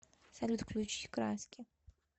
салют включи краски